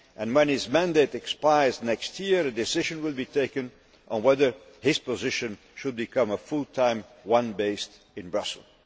When his mandate expires next year, a decision will be taken on whether his position should become a full time one based in Brussels.